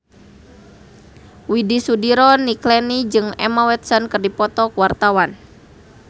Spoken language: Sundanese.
Widy Soediro Nichlany jeung Emma Watson keur dipoto ku wartawan